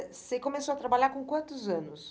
Eh você começou a trabalhar com quantos anos?